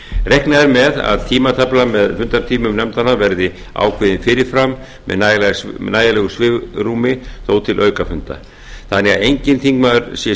reiknað er með að tímatafla með fundartímum nefndanna verði ákveðin fyrir fram með nægilegu svigrúmi þó til aukafunda þannig að enginn þingmaður sé